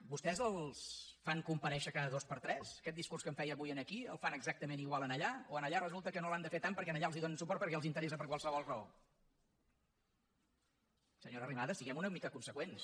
vostès els fan comparèixer cada dos per tres aquest discurs que em feia avui aquí el fan exactament igual allà o allà resulta que no l’han de fer tant perquè allà els donen suport perquè ja els interessa per qualsevol raó senyora arrimadas siguem una mica conseqüents